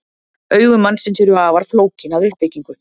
Augu mannsins eru afar flókin að uppbyggingu.